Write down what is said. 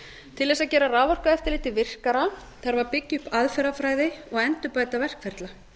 til þess að gera raforkueftirlitið virkara þarf að byggja upp aðferðafræði og endurbæta verkferla